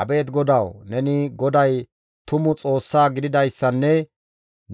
Abeet GODAWU! Neni GODAY tuma Xoossaa gididayssanne